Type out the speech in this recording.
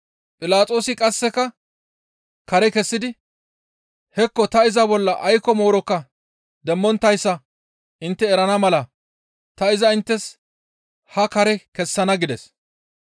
Philaxoosi qasseka kare kessidi, «Hekko ta iza bolla aykko moorokka demmonttayssa intte erana mala ta iza inttes haa kare kessana» gides.